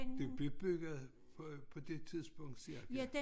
Den blev bygget på det tidspunkt cirka